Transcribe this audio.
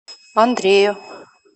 андрею